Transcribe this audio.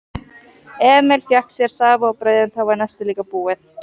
Emil fékk sér safa og brauð en þá var nestið líka búið.